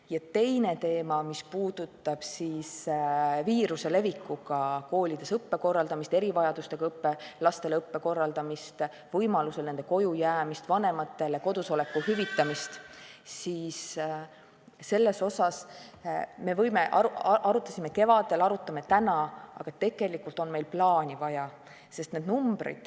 Ja teine teema, mis puudutab viiruse levikuga koolides õppe korraldamist, erivajadustega laste õppe korraldamist, võimalusel nende kojujäämist, nende vanematele kodusoleku hüvitamist, siis seda kõike arutasime me kevadel ja arutame ka täna, aga tegelikult on meil plaani vaja.